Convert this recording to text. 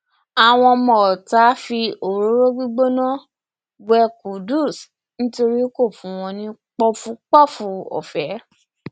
àwọn ọmọọta fi òróró gbígbóná um wé qudus nítorí kò fún wọn um ní pọfúpọọfù ọfẹ